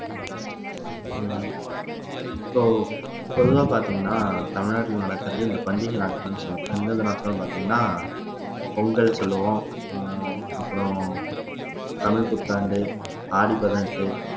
ஹம் so பொதுவா பார்த்தீங்கன்னா தமிழ்நாட்டுல நடக்கிறது இந்த பண்டிகை நாட்கள் சொல்லுவோம் எந்தெந்த நாட்கள்னு பார்த்தீங்கன்னா பொங்கல் சொல்லுவோம் ஆஹ் அப்புறம் தமிழ் புத்தாண்டு ஆடி பதினெட்டு